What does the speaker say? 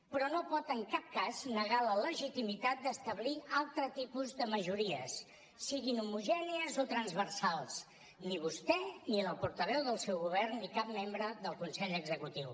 però no pot en cap cas negar la legitimitat d’establir altre tipus de majories siguin homogènies o transversals ni vostè ni la portaveu del seu govern ni cap membre del consell executiu